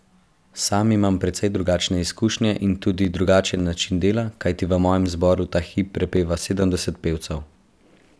Sam imam precej drugačne izkušnje in tudi drugačen način dela, kajti v mojem zboru ta hip prepeva sedemdeset pevcev.